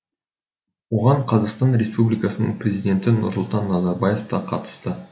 оған қазақстан республикасының президенті нұрсұлтан назарбаев та қатысты